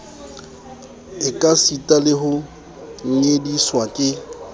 ekasita le ho nyediswa ke